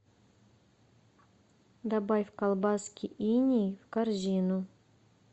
добавь колбаски иней в корзину